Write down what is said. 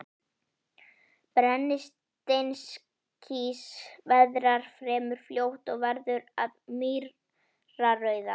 Brennisteinskís veðrast fremur fljótt og verður að mýrarauða.